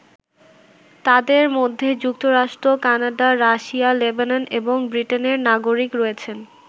তাদের মধ্যে যুক্তরাষ্ট্র, কানাডা, রাশিয়া, লেবানন এবং ব্রিটেনের নাগরিক রয়েছেন।